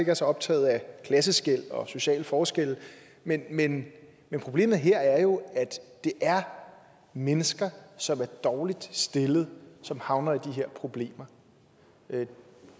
er så optaget af klasseskel og sociale forskelle men men problemet her er jo at det er mennesker som er dårligt stillet som havner i de her problemer